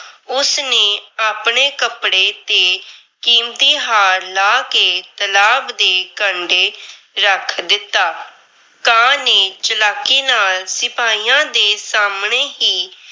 ਉਸ ਨੇ ਆਪਣੇ ਕੱਪੜੇ ਤੇ ਕੀਮਤੀ ਹਾਰ ਲਾਹ ਕੇ ਤਲਾਬ ਦੇ ਕੰਢੇ ਰੱਖ ਦਿੱਤਾ। ਕਾਂ ਨੇ ਚਲਾਕੀ ਨਾਲ ਸਿਪਾਹੀਆਂ ਦੇ ਸਾਹਮਣੇ ਹੀ